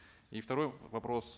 и второй вопрос